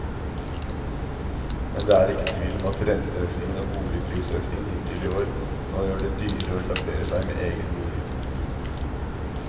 Men det er ikke tvil om at renteøkningen og boligprisøkningen hittil i år nå gjør det dyrere å etablere seg med egen bolig.